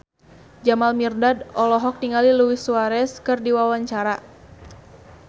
Jamal Mirdad olohok ningali Luis Suarez keur diwawancara